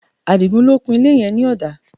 Adigun ló kun ilé yẹn ní ọ̀dà